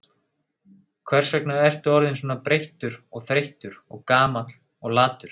Hvers vegna ertu orðinn svona breyttur og þreyttur og gamall og latur?